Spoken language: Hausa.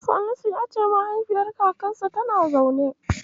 Salisu ya ce mahaifiyar kakarta kullum tana zaune.